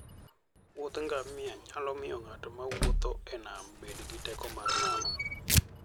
Wuoth ngamia nyalo miyo ng'at mawuotho e nam bedo gi teko mar nano.